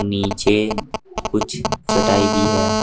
नीचे कुछ चटाई भी है।